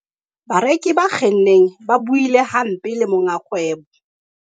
bareki ba kgenneng ba buile hampe le monga kgwebo